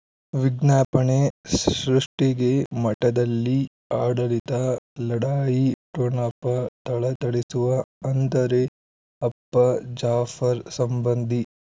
ವಿಜ್ಞಾಪನೆ ಸೃಷ್ಟಿಗೆ ಮಠದಲ್ಲಿ ಆಡಳಿತ ಲಢಾಯಿ ಠೊಣಪ ಥಳಥಳಿಸುವ ಅಂದರೆ ಅಪ್ಪ ಜಾಫರ್ ಸಂಬಂಧಿ